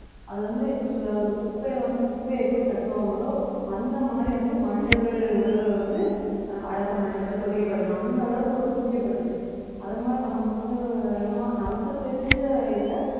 அது வந்து இப்படி சொல்ல ஒரு குப்பையில வந்து குப்பையை எப்படி தட்டுவாங்களோ அந்த மாதிரி வந்து மனிதர்கள் உடல்ல வந்து ஆஹ் அடக்கம் பண்ணப்பட்டு பொதிக்கப்பட்டிறணும் அந்த அளவுக்கு ஒரு குவிக்கப்பட்டுச்சு அதே மாதிரி நமக்கு வந்து நம்ம நமக்கு தெரிஞ்ச இதுல